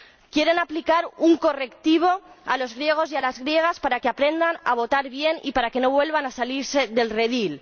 Quieren aplicar un correctivo a los griegos y a las griegas para que aprendan a votar bien y para que no vuelvan a salirse del redil